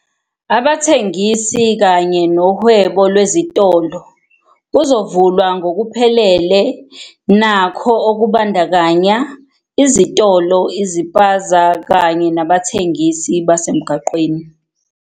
"Abathengisi kanye nohwebo lwezitolo kuzovulwa ngokuphelele nakho, okubandakanya izitolo, iziphaza kanye nabathengisi basemgwaqeni."